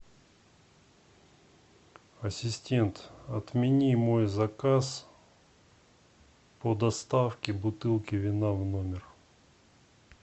ассистент отмени мой заказ по доставке бутылки вина в номер